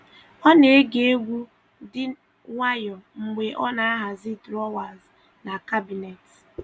Ọ na-ege egwu dị nwayọọ mgbe ọ na-ahazi drọwas na kabinet